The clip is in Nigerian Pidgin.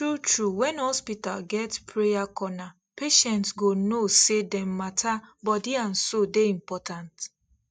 true true when hospital get prayer corner patients go know say dem matter body and soul dey important